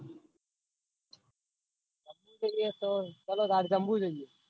જમ્બુ જવું હોય તો ચાલોતાન